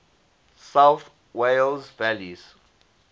south wales valleys